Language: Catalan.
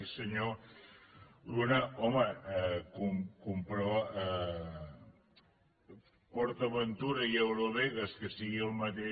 i senyor luna home port aventura i eurovegas que sigui el mateix